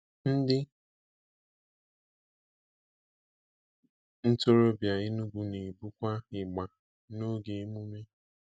Ndị ntorobịa Enugwu na-ebukwa ịgbà n'oge emume.